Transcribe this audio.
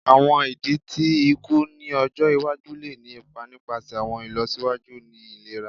Awọn idi ti iku ni ọjọ iwaju le ni ipa nipasẹ awọn ilọsiwaju ni ilera